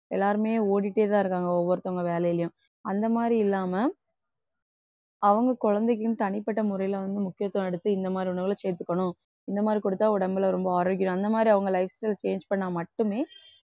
எல்லாருமே ஓடிட்டேதான் இருக்காங்க ஒவ்வொருத்தவங்க வேலையிலேயும் அந்த மாதிரி இல்லாம அவங்க குழந்தைக்குன்னு தனிப்பட்ட முறையிலே வந்து முக்கியத்துவம் எடுத்து இந்த மாதிரி உணவுல சேர்த்துக்கணும் இந்த மாதிரி குடுத்தா உடம்புல ரொம்ப ஆரோக்கியம் அந்த மாதிரி அவங்க lifestyle change பண்ணா மட்டுமே